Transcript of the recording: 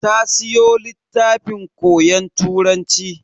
Ta siyo littafin koyon Turanci.